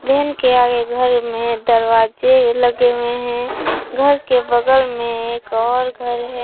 Van के आगे घर में दरवाजे भी लगे हुवे हैं घर के बगल में एक और घर है।